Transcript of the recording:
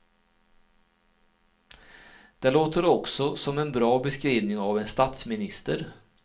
Det låter också som en bra beskrivning av en statsminister.